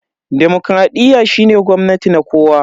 demokradiyyar shine gwamnati na kowa.